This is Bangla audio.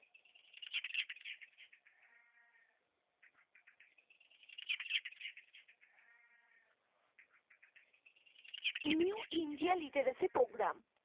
new india literacy program